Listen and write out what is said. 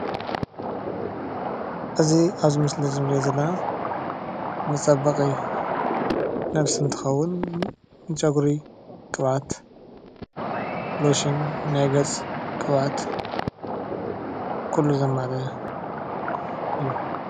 እዚ ኣብዚ ምስሊ እንሪኦ ዘለና መፀበቂ ነብሲ እትከውን ንፀጉሪ ቅብኣት፣ ሎሽን ናይ ገፅ ቅብኣት ኩሉ ዘማልአ እዩ፡፡